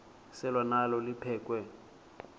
selwa nalo liphekhwe